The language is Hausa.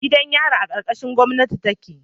Gidan yari a karkashin gomnati take